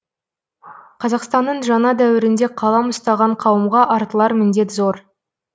қазақстанның жаңа дәуірінде қалам ұстаған қауымға артылар міндет зор